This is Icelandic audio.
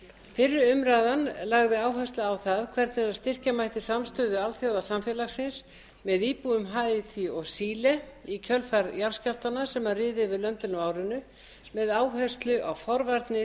fyrri umræðan lagði áherslu á það hvernig styrkja mætti samstöðu alþjóðasamfélagsins með íbúum haítí og síle í kjölfar jarðskjálftanna sem riðu yfir löndin á árinu með áherslu á forvarnir